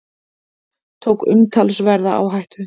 Tók umtalsverða áhættu